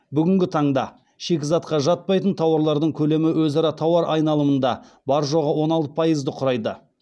бүгінгі таңда шикізатқа жатпайтын тауарлардың көлемі өзара тауар айналымында бар жоғы он алты пайызды құрайды